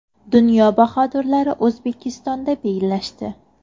Dunyo bahodirlari O‘zbekistonda bellashdi .